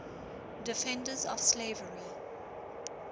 defenders of slavery